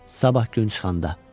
Sabah gün çıxanda.